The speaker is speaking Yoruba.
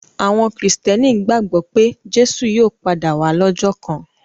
Àwọn Kìrìtẹ́ẹ́nì gbàgbọ́ pé Jésù yóò padà wá lọ́jọ́ kan.